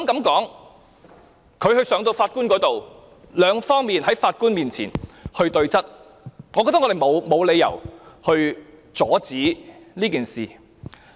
當他上到法庭時，雙方可在法官面前對質，而我認為我們沒有理由阻止這事。